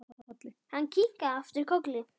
Hann kinkaði aftur kolli.